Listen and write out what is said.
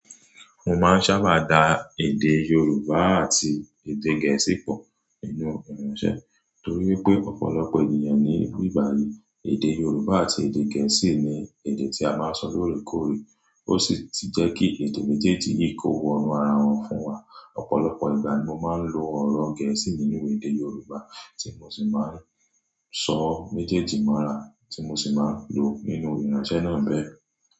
Mo máa ń sábà da èdè Yorùbá àti èdè Gẹ̀ẹ́sì pọ̀ nínú ìránṣẹ́ torí wípé ọ̀pọ̀lọpọ̀ ènìyàn ní ìgbà yí èdè Yorùbá àti èdè Gẹ̀ẹ́sì ní èdè tí a máa ń sọ lóòrè kóòrè ó sì ti jẹ́ kí èdè méjèèjì yìí kó wọnu ara wọn fún wa. Ọ̀pọ̀lọpọ̀ ìgbà ni mo máa ń lo ọ̀rọ̀ Gẹ̀ẹ́sì nínú èdè Yorùbá tí mo sì máa ń sọ méjèèjì mọ́ra tí mo sì máa ń lo nínú ìránṣẹ́ náà bẹ́ẹ̀.